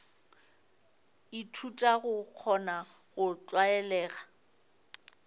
ithuta go kgona go tlwalega